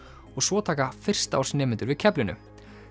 og svo taka fyrsta árs nemendur við keflinu